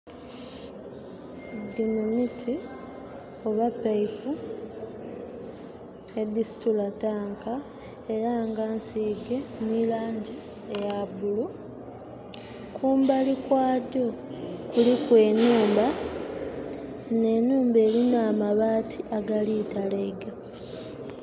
Dhino miti oba pipe edisitula tanka era nga nsige nelangi eya bulu, kumbali kwadho kuliku enhumba. Eno enhumba elina amabaati agali talaiga.